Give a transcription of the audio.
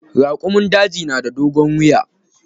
Raƙumun daji na da dogon wiya.